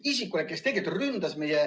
Isikule, kes tegelikult ründas meie ...